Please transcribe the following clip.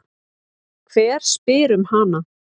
Hver spyr um hana?